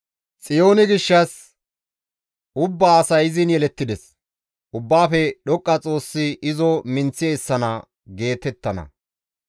Xiyoone gishshas, «Ubbaa asay izin yelettides; Ubbaafe Dhoqqa Xoossi izo minththi essana» geetettana.